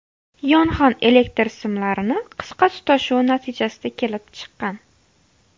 Yong‘in elektr simlarini qisqa tutashuvi natijasida kelib chiqqan.